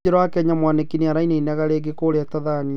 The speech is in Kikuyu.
Kajũra wa Kenya Mwaniki nĩ arainainaga rĩngĩ kũrĩa Tathania.